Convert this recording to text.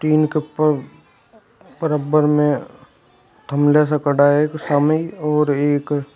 बराबर में थमला सा पड़ा है कुछ सामने और एक